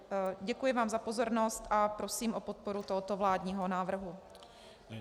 Děkuji vám za pozornost a prosím o podporu tohoto vládního návrhu.